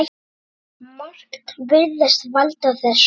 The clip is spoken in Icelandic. Margt virðist valda þessu.